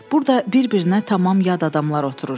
Burda bir-birinə tamam yad adamlar oturur.